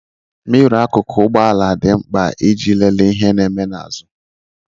Miro akụkụ ugbọala dị mkpa iji lelee ihe na-eme n'azụ.